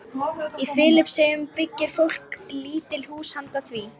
Á Filippseyjum byggir fólk lítil hús handa því.